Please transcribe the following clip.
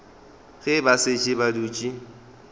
ge ba šetše ba dutše